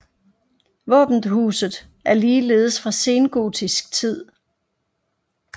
Våbenhuset er ligeledes fra sengotisk tid